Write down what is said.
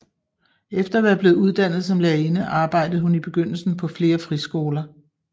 Efter at være blevet uddannet som lærerinde arbejdede hun i begyndelsen på flere friskoler